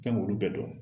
Fɛn k'olu bɛɛ dɔn